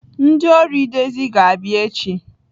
Ndị ọrụ edezi ga-abịa echi.